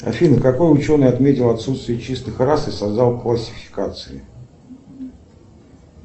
афина какой ученый отметил отсутствие чистых рас и создал классификации